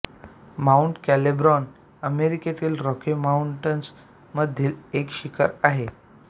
mount कॅलिब्रॉन अमेरिकेतील Rocky Mountains मधील एक शिखर आहे